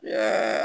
Nba